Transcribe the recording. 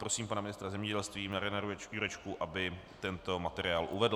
Prosím pana ministra zemědělství Mariana Jurečku, aby tento materiál uvedl.